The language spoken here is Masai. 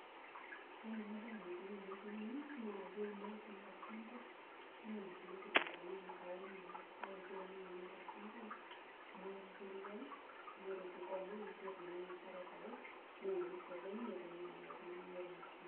Ore enabae enikuni petumi na keuni ake sinche tolchamba ana nkulie kitunguuni amu saumu ena, kake keuni Nye tolchamba nebulu na ore peikomaa netumokini aitau neyauni osokoni neponunui amiraki ltunganak.